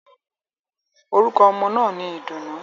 Orúkọ ọmọ náà ni Ìdùnnú.